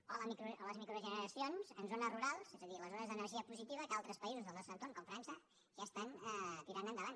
o les microgeneracions en zones rurals és a dir les zones d’energia positiva que altres països del nostre entorn com frança ja estan tirant endavant